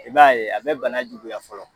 I b'a ye a bɛ bana juguya fɔlɔ